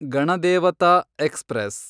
Ganadevata express